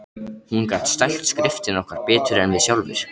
Hún gat stælt skriftina okkar betur en við sjálfir.